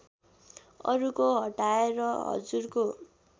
अरूको हटाएर हजुरको